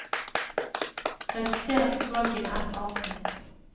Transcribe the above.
Redusér utvalget med ett avsnitt